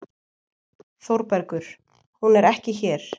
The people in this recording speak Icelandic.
ÞÓRBERGUR: Hún er ekki hér.